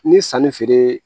Ni sanni feere